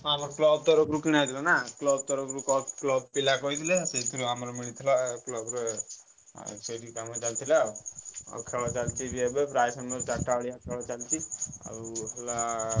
ଆମର club ତରଫ ରୁ କିଣା ହେଇଥିଲା ନାଁ, club ପିଲା କହିଥିଲେ ସେଇଥିରୁ ଆମର ମିଳିଥିଲା club ରେ ସେଇଠି କାମ ଚାଲିଥିଲା ଆଉ ଖେଳ ଚାଲିଥିଲା ଆଉ। ଆଉ ଖେଲ ଚାଲିଛି ବି ଏବେ ଆଉ ପ୍ରାୟ ସମୟ ଚାରିଟା ବେଳିଆ ଖେଲ ଚାଲିଛି ଆଉ ହେଲା।